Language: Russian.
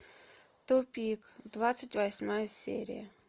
тупик двадцать восьмая серия